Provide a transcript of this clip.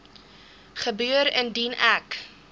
gebeur indien ek